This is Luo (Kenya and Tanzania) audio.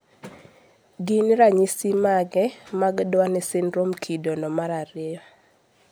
gin ranyisi mage mag Duane syndrome kido no mar ariyo